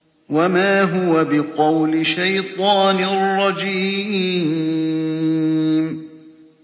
وَمَا هُوَ بِقَوْلِ شَيْطَانٍ رَّجِيمٍ